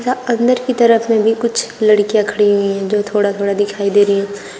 अंदर की तरफ में भी कुछ लड़कियां खड़ी हुई है जो थोड़ा थोड़ा दिखाई दे रही है।